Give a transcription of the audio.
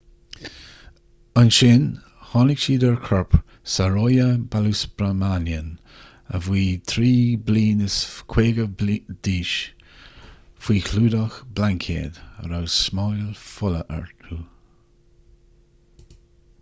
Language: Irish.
ansin tháinig siad ar chorp saroja balasubramanian a bhí 53 bliain d'aois faoi chlúdach blaincéad a raibh smáil fola orthu